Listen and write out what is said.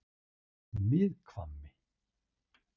Miðhvammi